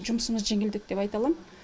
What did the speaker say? жұмысымыз жеңілдет деп айта алам